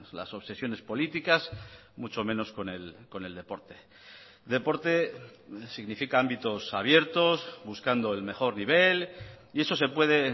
las obsesiones políticas mucho menos con el deporte deporte significa ámbitos abiertos buscando el mejor nivel y eso se puede